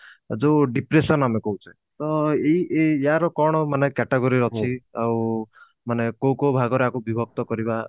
ଯୋଉ depression ଆମେ କହୁଛେ ତ ଏଇ ଏଇ ୟାର କଣ ମାନେ category ଅଛି ଆଉ ମାନେ କୋଉ କୋଉ ଭାଗରେ ଆକୁ ବିଭକ୍ତ କରିବା